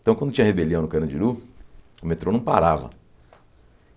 Então, quando tinha rebelião no Canandiru, o metrô não parava.